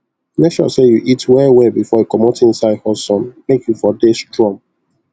make sure say you eat well well befor you comot inside hot sun make u for dey strong